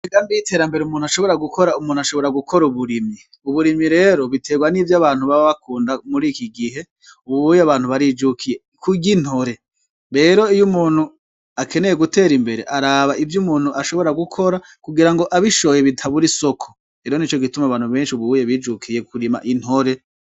Bigambi iyiterambere umuntu ashobora gukora umuntu ashobora gukora uburimyi uburimi rero biterwa n'ivyo abantu babe bakunda muri iki gihe ububuye abantu barijukiye kuryo intore bero iyo umuntu akeneye gutera imbere araba ivyo umuntu ashobora gukora kugira ngo abishoye bitaburi soko ero ni co gituma abantu benshi ububuye bijukiye kurima intore.